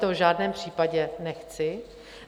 To v žádném případě nechci.